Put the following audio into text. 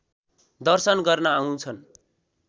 दर्शन गर्न आउँछन्